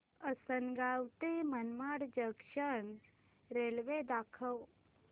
आसंनगाव ते Manmad junction railway दाखव